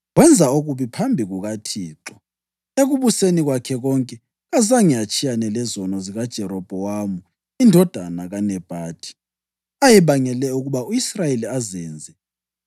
Wenza okubi phambi kukaThixo. Ekubuseni kwakhe konke kazange atshiyane lezono zikaJerobhowamu indodana kaNebhathi, ayebangele ukuba u-Israyeli azenze.